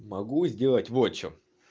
могу сделать вот что